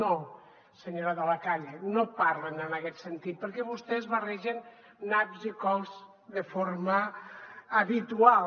no senyora de la calle no parlen en aquest sentit perquè vostès barregen naps i cols de forma habitual